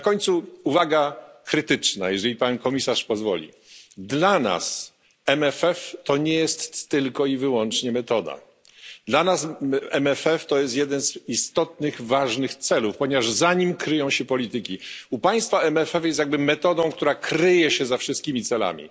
Na końcu uwaga krytyczna jeżeli Pan Komisarz pozwoli WRF jest dla nas nie tylko i wyłącznie metodą, jest to jeden z istotnych, ważnych celów, ponieważ za nim kryją się polityki. U Państwa WRF jest jakby metodą, która kryje się za wszystkimi